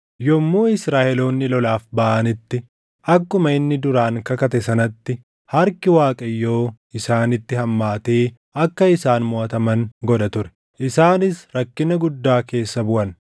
Yommuu Israaʼeloonni lolaaf baʼanitti akkuma inni duraan kakate sanatti harki Waaqayyoo isaanitti hammaatee akka isaan moʼataman godha ture. Isaanis rakkina guddaa keessa buʼan.